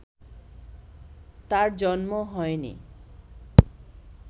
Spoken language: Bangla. তাঁর জন্ম হয়নি